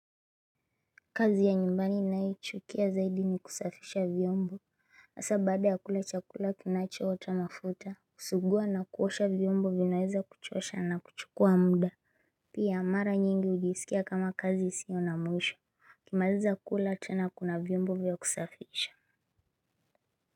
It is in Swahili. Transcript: Kazi ya nyumbani ninayochukia zaidi ni kusafisha vyombo hasa baada ya kula chakula kinachotoa mafuta kusuguwa na kuosha vyombo vinaweza kuchosha na kuchukua muda. Pia mara nyingi hujisikia kama kazi isio na mwisho ukimaliza kula tena kuna vyombo vya kusafisha.